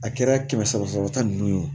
A kɛra kɛmɛ saba sɔrɔ ta nunnu ye o